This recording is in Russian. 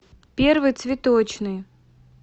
первый цветочный